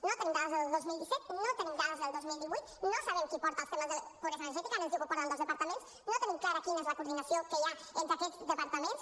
no tenim dades del dos mil disset no tenim dades del dos mil divuit no sabem qui porta els temes de pobresa energètica ara ens diu que ho porten dos departaments no tenim clara quina és la coordinació que hi ha entre aquests departaments